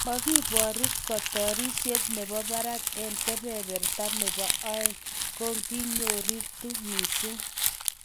"Magibooru kotiorset nebo barak eng kebeberta nebo oeng, kakinyokoritu missing."